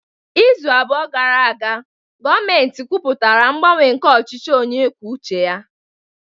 Izu abụọ gara aga, gọọmentị kwupụtara ngbanwe nke ọchịchị onye kwuo uche ya